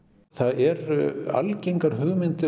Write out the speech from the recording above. það eru algengar hugmyndir